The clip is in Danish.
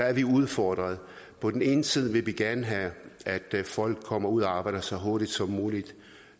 er udfordret på den ene side vil vi gerne have at folk kommer ud at arbejde så hurtigt som muligt